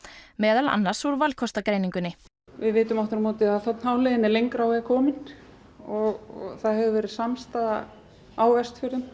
meðal annars úr valkostagreiningunni við vitum aftur á móti að þ h leiðin er lengra á veg komin og það hefur verið samstaða á Vestfjörðum